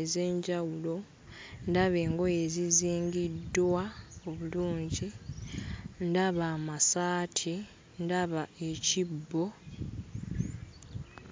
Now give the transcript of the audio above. ez'enjawulo, ndaba engoye ezizingiddwa obulungi, ndaba amasaati, ndaba ekibbo.